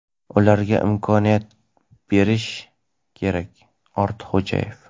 ularga imkoniyat berish kerak – Ortiqxo‘jayev.